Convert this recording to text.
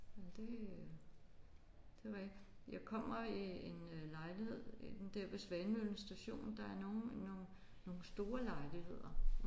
Men det øh det ved jeg ikke. Jeg kommer i en øh lejlighed inde der ved Svanemøllen station der er nogle nogle nogle store lejligheder